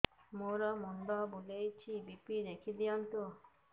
ମୋର ମୁଣ୍ଡ ବୁଲେଛି ବି.ପି ଦେଖି ଦିଅନ୍ତୁ